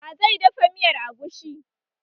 Wa zai dafa miyar agushi?